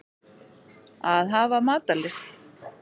Að hafa matarlyst.